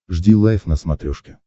жди лайв на смотрешке